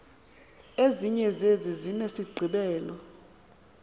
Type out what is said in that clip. ezinye zezi zinesigqibelo